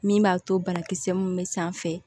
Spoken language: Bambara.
Min b'a to banakisɛ mun bɛ sanfɛ